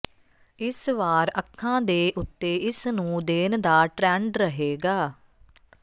ਇਸ ਵਾਰ ਅੱਖਾਂ ਦੇ ਉਤੇ ਇਸ ਨੂੰ ਦੇਣ ਦਾ ਟਰੈਂਡ ਰਹੇਗਾ